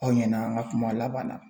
Aw ɲɛna an ka kuma laban na